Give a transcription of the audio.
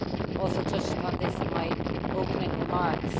I also touched upon this in my opening remarks.